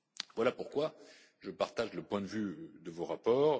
Voilà pourquoi je partage le point de vue de vos rapports.